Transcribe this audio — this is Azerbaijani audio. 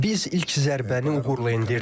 Biz ilk zərbəni uğurla endirdik.